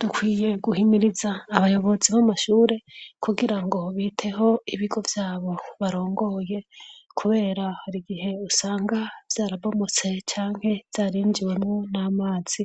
Dukwiye guhimiriza abayobozi b'amashuri kugira ngo biteho ibigo vyabo barongoye kubera hari gihe usanga vyarabomotse canke vyarinjiwemwo n'amazi